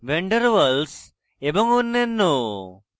van der waal s এবং অন্যান্য